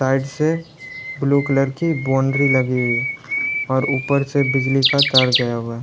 side से blue colour की boundary लगी हुई है और ऊपर से बिजली का तार गया हुआ--